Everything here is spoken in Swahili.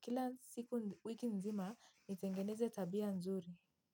kila siku wiki nzima nitengeneze tabia nzuri.